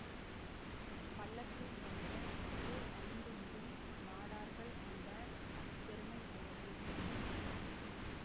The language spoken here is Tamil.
பள்ளத்தூர் என்ற ஊர் ஐந்துமுடி நாடார்கள் ண்ட பெருமை உடையது